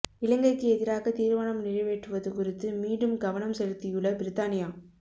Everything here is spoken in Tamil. இலங்கைக்கு எதிராக தீர்மானம் நிறைவேற்றுவது குறித்து மீண்டும் கவனம் செலுத்தியுள்ள பிரித்தானியா